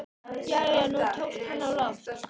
Já, já, nú tókst hann á loft!